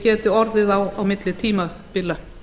geti orðið á milli tímabila